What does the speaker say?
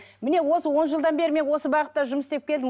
міне осы он жылдан бері мен осы бағытта жұмыс істеп келдім